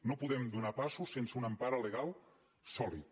no podem donar passos sense una empara legal sòlida